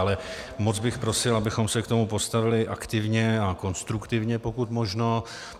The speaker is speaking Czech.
Ale moc bych prosil, abychom se k tomu postavili aktivně a konstruktivně, pokud možno.